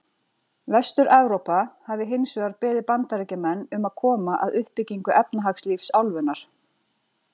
Vestur-Evrópa hafi hins vegar beðið Bandaríkjamenn um að koma að uppbyggingu efnahagslífs álfunnar.